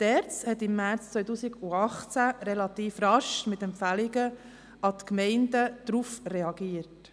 Die ERZ hat im März 2018 relativ rasch mit Empfehlungen an die Gemeinden darauf reagiert.